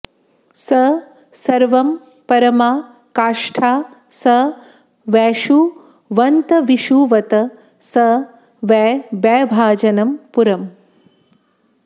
स सर्वं परमा काष्ठा स वैषुवतंविषुवत् स वै वैभाजनं पुरम्